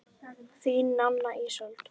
Þín, Nanna Ísold.